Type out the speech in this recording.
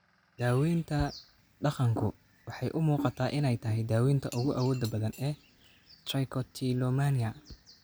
Daawaynta dhaqanku waxay u muuqataa inay tahay daawaynta ugu awoodda badan ee trichotillomania.